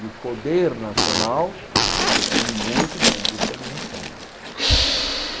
E o poder nacional depende muito da industrialização né.